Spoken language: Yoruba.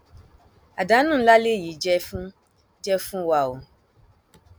àdánù ńlá lèyí jẹ fún jẹ fún wa o